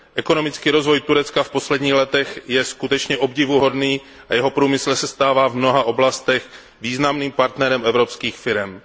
Ekonomický rozvoj Turecka v posledních letech je skutečně obdivuhodný a jeho průmysl se stává v mnoha oblastech významným partnerem evropských firem.